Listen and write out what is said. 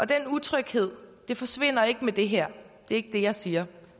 den utryghed forsvinder ikke med det her det er ikke det jeg siger